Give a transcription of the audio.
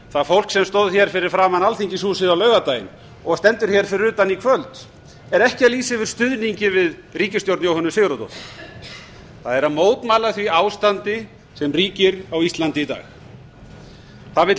það fólk sem stóð hér fyrir framan alþingishúsið á laugardaginn og stendur hér fyrir utan í kvöld er ekki að lýsa yfir stuðningi við ríkisstjórn jóhönnu sigurðardóttur það er að mótmæla því ástandi sem ríkir á íslandi í dag það vill